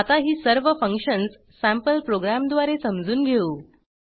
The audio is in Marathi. आता ही सर्व फंक्शन्स सँपल प्रोग्रॅमद्वारे समजून घेऊ